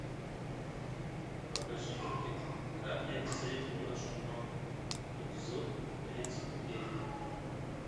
покажи мультик как я встретил вашу маму эпизод тридцать девять